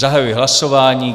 Zahajuji hlasování.